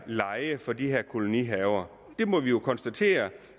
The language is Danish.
lejen for de her kolonihaver vi må jo konstatere